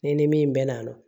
Ne ni min bɛ na